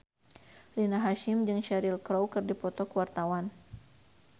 Rina Hasyim jeung Cheryl Crow keur dipoto ku wartawan